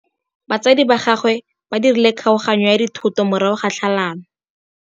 Batsadi ba gagwe ba dirile kgaoganyô ya dithoto morago ga tlhalanô.